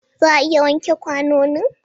Za a iya wanke kwanonin?